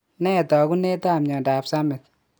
Nee taakunetaab myondap Summitt?